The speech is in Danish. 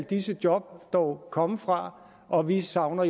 disse job dog komme fra og vi savner